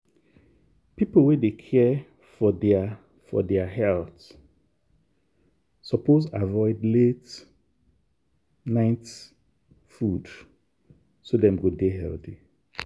people wey dey care for their for their health suppose avoid late-night food so dem go dey healthy.